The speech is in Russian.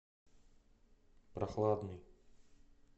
прохладный